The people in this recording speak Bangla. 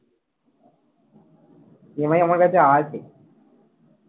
EMI আমার কাছে আছে